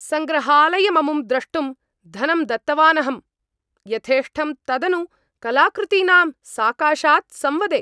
सङ्ग्रहालयममुं द्रष्टुं धनं दत्तवानहम् , यथेष्टं तदनु कलाकृतीनां साकाशात् संवदे!